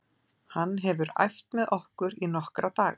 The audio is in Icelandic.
Hann hefur æft með okkur í nokkra daga.